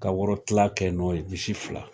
Ka woro kila kɛ n'o ye misi fila